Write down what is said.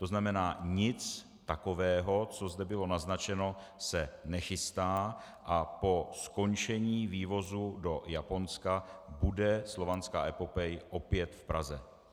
To znamená, nic takového, co zde bylo naznačeno, se nechystá a po skončení vývozu do Japonska bude Slovanská epopej opět v Praze.